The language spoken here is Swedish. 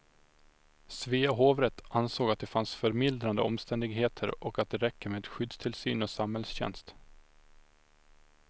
Svea hovrätt ansåg att det fanns förmildrande omständigheter och att det räcker med skyddstillsyn och samhällstjänst.